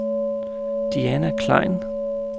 Diana Klein